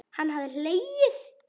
Hann hafði hlegið.